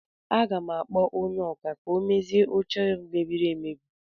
Aga m akpọ onye ọkà ka o dozie oche a mebiri emebi